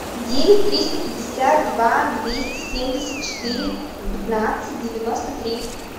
девять триста пятьдесят два двести семьдесят четыре пятнадцать девяносто три